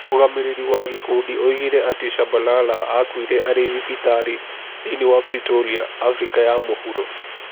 Mũrũgamĩrĩri wa gĩkundi oigire atĩ Shabalala aakuire arĩ thibitarĩ thĩinĩ wa Pretoria, Abirika ya mũhuro.